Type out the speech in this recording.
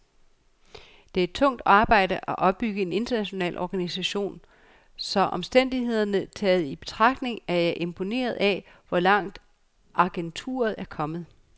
Det er tungt arbejde at opbygge en international organisation, så omstændighederne taget i betragtning er jeg imponeret af, hvor langt agenturet er kommet.